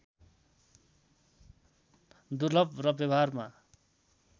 दुर्लभ र व्यवहारमा